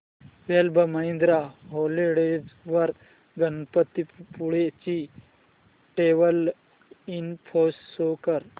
club Mahindra holidays वर गणपतीपुळे ची travel info show कर